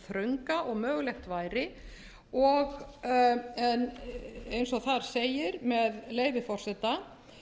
þrönga og mögulegt væri eða eins og þar segir með leyfi forseta